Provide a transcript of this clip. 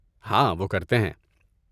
ہاں، وہ کرتے ہیں۔